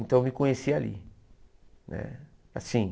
Então eu me conheci ali né assim.